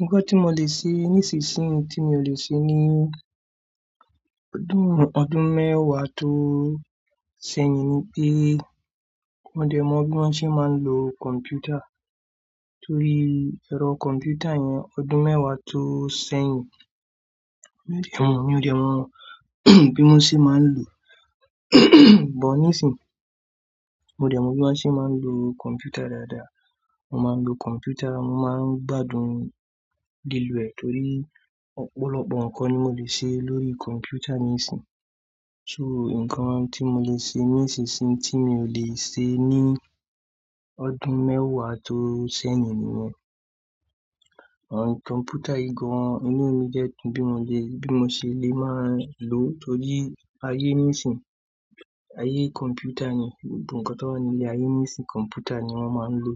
Nǹkan tí mo lè ṣe ní ìsinsìnyí tí mi ò lè ṣe ní ọdún, ọdún mẹ́wàá tó ṣẹ̀yìn ni pé mo dẹ̀ mọ bí wọ́n ṣe máa ń lo kọ̀mpútà torí ẹ̀rọ kọ̀mpútà yẹn ọdún mẹ́wàá tó ṣẹ̀yìn mio dẹ̀ mọ, mio dẹ̀ mọ bí wọ́n ṣe máa ń lò bọ́ nísìí. Mo dẹ̀ mọ bí wọ́n ṣe máa ń lo kọ̀mpútà dáadáa. Mo máa ń lo kọ̀mpútà, mo máa ń gbádùn lílo ẹ torí ọ̀pọ̀lọpọ̀ nǹkan ni mo lè ṣe lórí kọ̀mpútà níìsín. So nǹkan tí mo lè ṣe ní ìsinsìnyí tí mi ò lè ṣe ní ọdún mẹ́wàá tó ṣẹ̀yìn nìyẹn. Rárá kọ̀mpútà igbọràn inú ìnumi de dun tí bí mo le, bí mo ṣe lè máa lò torí ayé nísìí, ayé kọ̀mpútà ni gbogbo nǹkan tó wà nílé ayé nísìí kọ̀mpútà ni wọ́n máa ń lò.